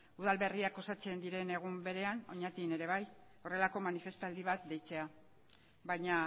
udal berriak osatzen diren egun berean oñatin ere bai horrelako manifestaldi bat deitzea baina